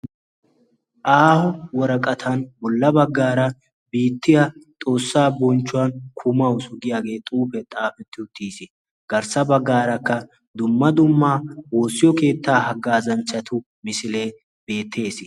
Aaho woraqatan bollan baggaara "biittiya xoossa bonchchuwan kumawusu" giiyaagee xuufee xaafetti uttiis. Garssa baggaarakkaa dumma dumma woossiyo keettaa hagazanchchatu misilee beettees.